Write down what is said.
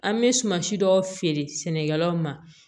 An bɛ suman si dɔw feere sɛnɛkɛlaw ma